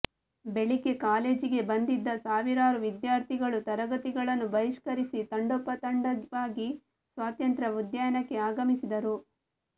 ಬೆಳಿಗ್ಗೆ ಕಾಲೇಜಿಗೆ ಬಂದಿದ್ದ ಸಾವಿರಾರು ವಿದ್ಯಾರ್ಥಿಗಳು ತರಗತಿಗಳನ್ನು ಬಹಿಷ್ಕರಿಸಿ ತಂಡೋಪತಂಡವಾಗಿ ಸ್ವಾತಂತ್ರ್ಯ ಉದ್ಯಾನಕ್ಕೆ ಆಗಮಿಸಿದರು